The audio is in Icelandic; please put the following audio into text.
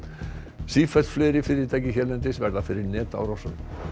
sífellt fleiri fyrirtæki hérlendis verða fyrir netárásum